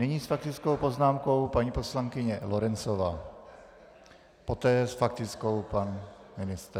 Nyní s faktickou poznámkou paní poslankyně Lorencová, poté s faktickou pan ministr.